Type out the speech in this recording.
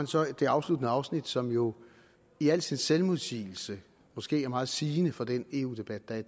så det afsluttende afsnit som jo i al sin selvmodsigelse måske er meget sigende for den eu debat der er